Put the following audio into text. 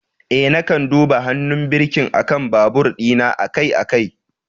Eh, na kan duba hannun birkin akan babur dina akai-akai.